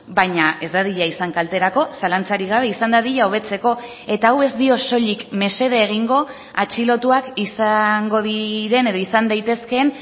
baina ez dadila izan kalterako zalantzarik gabe izan dadila hobetzeko eta hau ez dio soilik mesede egingo atxilotuak izango diren edo izan daitezkeen